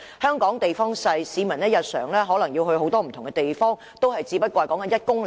香港地方小，市民日常前往很多不同的地方，距離可能也只是1公里內。